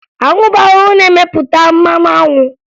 Anwụ bụ ahụhụ na-emepụta mmanụ anwụ